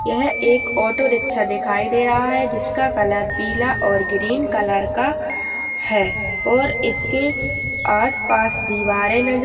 यह एक auto rickshaw दिखाई दे रहा है। जिसका कलर पीला और ग्रीन कलर का है और इसके आस पास दीवारें नजर --